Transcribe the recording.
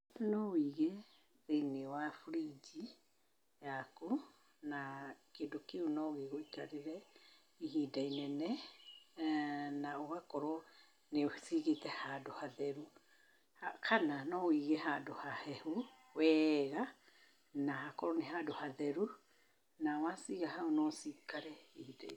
No wũige thĩiniĩ wa fridge yaku, na kĩndũ kĩu no gĩgũikarĩre ihinda inene na ũgakorwo nĩ ũciigĩte handũ hatheru, kana no wĩige handũ hahehu wega na hakorwo nĩ handũ hatheru, na waciiga haũ no ciikare.